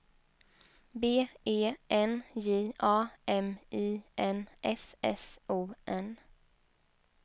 B E N J A M I N S S O N